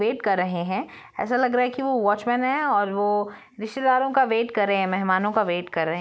Wait कर रहे है ऐसा लग रहा है की वो वोचमेंन है और वो रिश्तेदार का वेट कर रहेहै महेमन को कर रहे है।